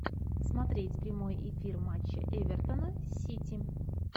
смотреть прямой эфир матча эвертона с сити